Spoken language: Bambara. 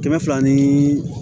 Kɛmɛ fila ni